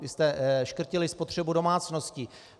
Vy jste škrtili spotřebu domácností.